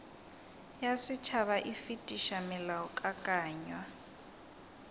ya setšhaba e fetiša molaokakanywa